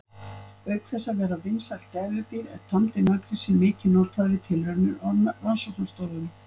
Auk þess að vera vinsælt gæludýr er tamdi naggrísinn mikið notaður við tilraunir á rannsóknastofum.